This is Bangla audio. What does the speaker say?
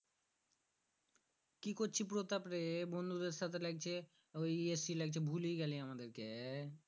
কি করচ্ছি প্রতাপরে? বন্ধুদের সাথে লাইগছে ইয়ে লাগতে ভূলেই গেলি আমাদেরকে?